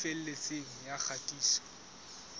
e felletseng ya kgatiso tsa